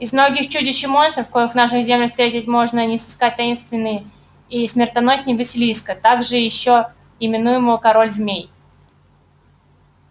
из многих чудищ и монстров коих в наших землях встретить можно не сыскать таинственней и смертоносней василиска также ещё именуемого король змей